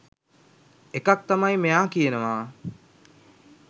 එකක් තමයි මෙයා කියනවා